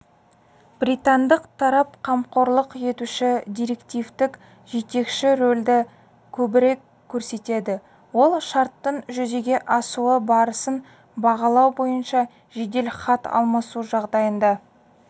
британдық тарап қамқорлық етуші директивтік-жетекші рөлді көбірек көрсетеді ол шарттың жүзеге асуы барысын бағалау бойынша жедел хат алмасу жағдайында